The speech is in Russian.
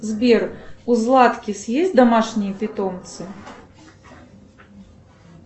сбер у златкис есть домашние питомцы